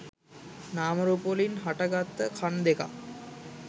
නාමරූපවලින් හටගත්ත කණ් දෙකක්.